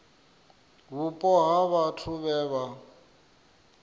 vhupo ha vhathu vhe vha